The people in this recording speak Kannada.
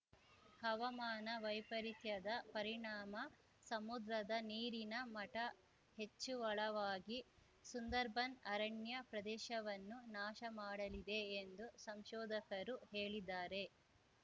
ಹವಾಮಾನ ವೈಪರಿತ್ಯದ ಪರಿಣಾಮ ಸಮುದ್ರದ ನೀರಿನ ಮಟಹೆಚ್ಚಳವಾಗಿ ಸುಂದರ್‌ಬನ್‌ ಅರಣ್ಯ ಪ್ರದೇಶವನ್ನು ನಾಶ ಮಾಡಲಿದೆ ಎಂದು ಸಂಶೋಧಕರು ಹೇಳಿದಾರೆ